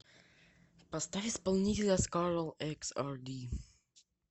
поставь исполнителя скарлэксарди